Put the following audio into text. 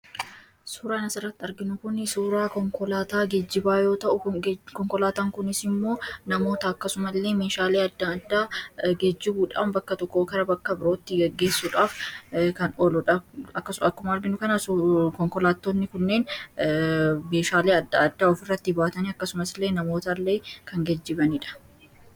suuraan asirratti arginu kuni suuraa gejjibaa yoo ta,u konkolaataan kunis immoo namoota akkasuma illee meeshaalee adda addaa gejjibuudhaan bakka tokkoo kara bakka birootti geggeessuudhaaf kan oluudha. akkasumas akkuma arginu kana konkolaatootni kunneen meeshaalee adda addaa of irratti baatanii akkasumas illee namoota illee kan gejjibaniidha.